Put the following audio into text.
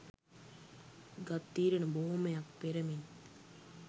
ගත් තීරණ බොහෝමයක් පෙර මෙන්